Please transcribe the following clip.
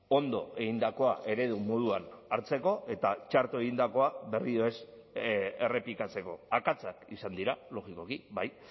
ondo egindakoa eredu moduan hartzeko eta txarto egindakoa berriro ez errepikatzeko akatsak izan dira logikoki bai